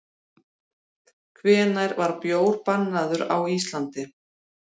Hvenær var bjór bannaður á Íslandi?